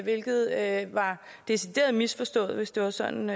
hvilket er en decideret misforståelse hvis det var sådan